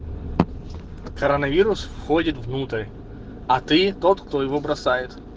коронавирус входит внутрь а ты тот кто его бросает